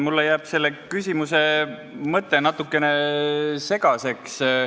Mulle jääb selle küsimuse mõte natukene segaseks.